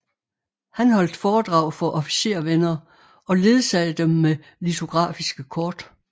Han holdt foredrag for officervenner og ledsagede dem med litografiske kort